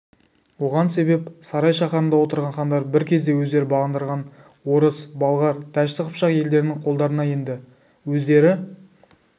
оған себеп сарай шаһарында отырған хандар бір кезде өздері бағындырған орыс болғар дәшті қыпшақ елдерінің қолдарына енді өздері